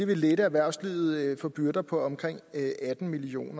vil lette erhvervslivet for byrder på omkring atten million